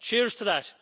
Cheers to that!